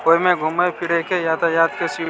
ओय में घूमे फिरे के यातायात के सिर्फ --